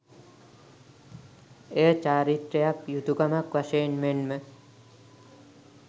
එය චාරිත්‍රයක්, යුතුකමක් වශයෙන් මෙන්ම